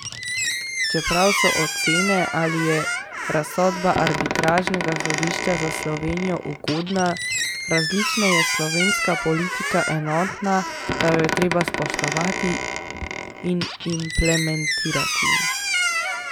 Čeprav so ocene, ali je razsodba arbitražnega sodišča za Slovenijo ugodna, različne, je slovenska politika enotna, da jo je treba spoštovati in implementirati.